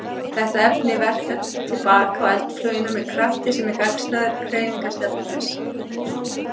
Þetta efni verkar til baka á eldflaugina með krafti sem er gagnstæður hreyfingarstefnu þess.